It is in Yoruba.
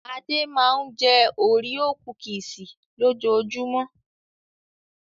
Ade máa ń jẹ́ òréò kukisì lójoojúmọ́.